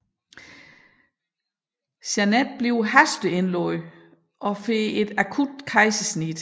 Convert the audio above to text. Janet bliver hasteindlagt og får et akut kejsersnit